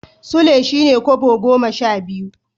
Sule shi ne Kobo goma sha biyu.